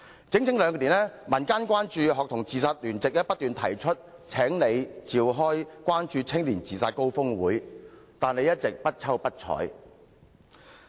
在這整整兩年間，有關注學童自殺的民間聯席不斷要求特首召開關注青年自殺高峰會，但你一直不瞅不睬。